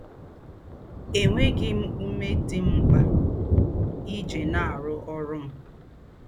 Ènwēghī m úmē dī m m̀kpā íjī nà-àrụ́ órụ́ m